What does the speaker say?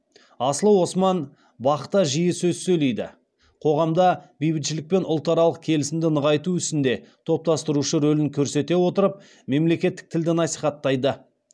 аслы осман бақ та жиі сөз сөйлейді қоғамда бейбітшілік пен ұлтаралық келісімді нығайту ісінде топтастырушы рөлін көрсете отырып мемлекеттік тілді насихаттайды